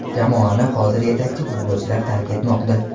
Jamoani hozir yetakchi futbolchilar tark etmoqda.